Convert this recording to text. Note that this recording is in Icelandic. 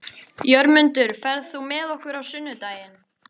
Jörmundur, ferð þú með okkur á sunnudaginn?